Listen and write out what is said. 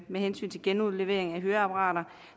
med hensyn til genudlevering af høreapparater